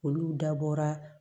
Olu dabɔra